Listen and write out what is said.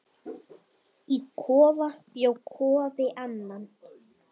Í kofa bjó Kofi Annan.